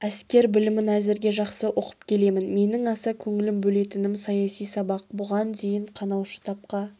әскер білімін әзірге жақсы оқып келемін менің аса көңіл бөлетінім саяси сабақ бұған дейін қанаушы тапқа